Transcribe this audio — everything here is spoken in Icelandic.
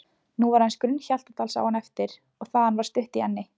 Nú var aðeins grunn Hjaltadalsáin eftir og þaðan var stutt í Enni